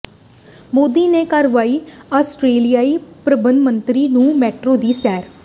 ਮੋਦੀ ਨੇ ਕਰਵਾਈ ਆਸਟ੍ਰੇਲੀਆਈ ਪ੍ਰਧਾਨਮੰਤਰੀ ਨੂੰ ਮੈਟਰੋ ਦੀ ਸੈਰ